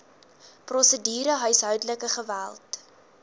prosedure huishoudelike geweld